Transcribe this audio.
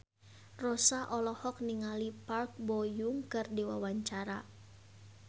Rossa olohok ningali Park Bo Yung keur diwawancara